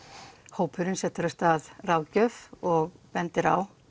hópurinn af stað ráðgjöf og bendir á